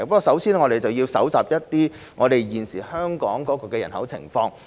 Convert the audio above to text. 首先，我們要搜集有關香港人口的情況。